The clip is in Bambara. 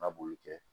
A b'olu kɛ